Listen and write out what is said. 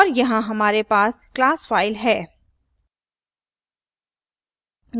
और यहाँ हमारे पास class फ़ाइल है